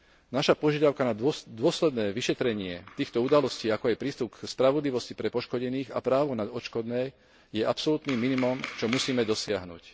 Naša požiadavka na dôsledné vyšetrenie týchto udalostí, ako aj prístup k spravodlivosti pre poškodených a právo na odškodné, je absolútnym minimom, čo musíme dosiahnuť.